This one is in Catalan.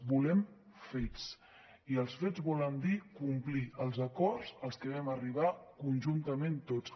volem fets i els fets volen dir complir els acords als que vam arribar conjuntament tots